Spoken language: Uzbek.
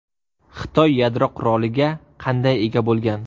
Xitoy yadro quroliga qanday ega bo‘lgan?